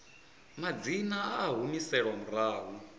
madzina a a humiselwa murahu